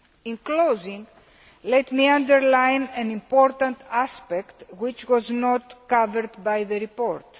In conclusion, let me underline an important aspect which was not covered by the report.